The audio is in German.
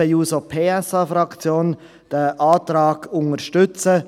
Deshalb wird die SP-JUSO-PSA-Fraktion diesen Antrag unterstützen.